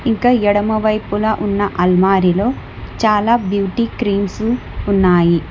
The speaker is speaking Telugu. ఇంకా ఎడమవైపున ఉన్న అల్మారిలో చాలా బ్యూటీ క్రీమ్సు ఉన్నాయి.